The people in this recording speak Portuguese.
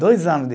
Dois anos de